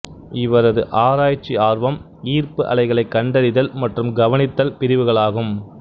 இவரது ஆராய்ச்சி ஆர்வம் ஈர்ப்பு அலைகளைக் கண்டறிதல் மற்றும் கவனித்தல் பிரிவுகளாகும்